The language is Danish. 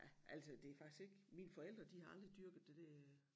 Ja altså det faktisk ikke mine forældre de har aldrig dyrket det der